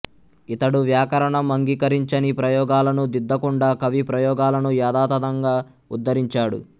ఇతడు వ్యాకరణం అంగీకరించని ప్రయోగాలను దిద్దకుండా కవి ప్రయోగాలను యథాతథంగా ఉద్ధరించాడు